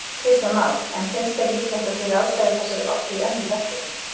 Kristján Már: En finnst þér líklegt að þið ráðstafað þessari orku í önnur verkefni?